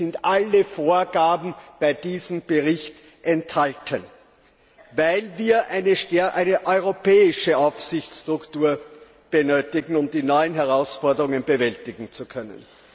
Hier sind alle Vorgaben in diesem Bericht enthalten, weil wir eine integrierte europäische Aufsichtsstruktur benötigen, um die neuen Herausforderungen bewältigen zu können.